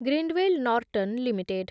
Grindwell Norton limited